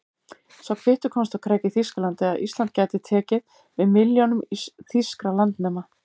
Sá kvittur komst á kreik í Þýskalandi, að Ísland gæti tekið við milljónum þýskra landnema.